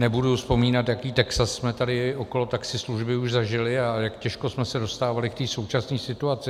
Nebudu vzpomínat, jaký Texas jsme tady okolo taxislužby už zažili a jak těžko jsme se dostávali k té současné situaci.